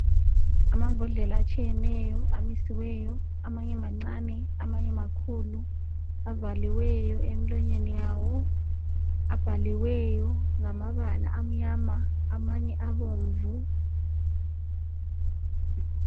Amambodlela atshiyeneyo amisiweyo amanye mancane amanye makhulu avaliweyo emilonyeni yawo abhaliweyo ngamabala amnyama amanye abomvu